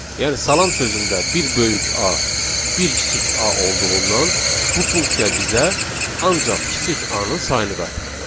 Yəni salam sözündə bir böyük A, bir kiçik A olduğundan bu funksiya bizə ancaq kiçik A-nın sayını qaytardı.